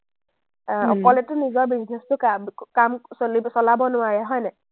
আহ অকলেতো নিজৰ business টো কাম-কাম চলিব-চলাব নোৱাৰে হয়নে?